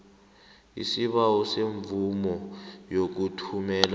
isibawo semvumo yokuthumela